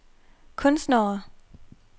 kunstnere